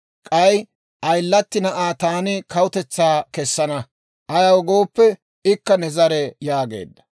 K'ay ayilatti na'aa taani kawutetsaa kessana; ayaw gooppe, ikka ne zare» yaageedda.